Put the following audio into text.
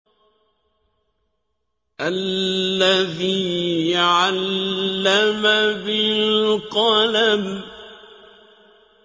الَّذِي عَلَّمَ بِالْقَلَمِ